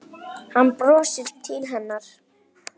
Hann brosir til hennar.